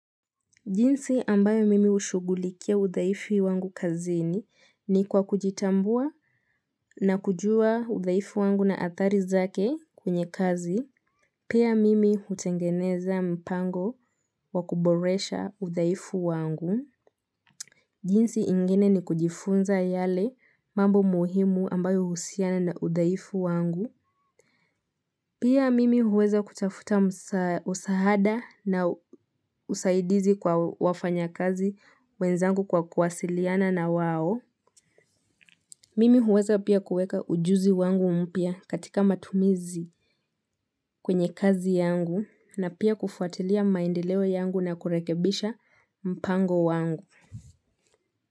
Jinsi ambayo mimi hushugulikia udhaifu wangu kazini ni kwa kujitambua na kujua udhaifu wangu na athari zake kwenye kazi. Pia mimi hutengeneza mpango wa kuboresha udhaifu wangu. Jinsi ingine ni kujifunza yale mambo muhimu ambayo uhusiana na udhaifu wangu. Pia mimi huweza kutafuta msaada na usaidizi kwa wafanyakazi wezangu kwa kuwasiliana na wao. Mimi huweza pia kueka ujuzi wangu mpya katika matumizi kwenye kazi yangu na pia kufuatilia maendileo yangu na kurekebisha mpango wangu.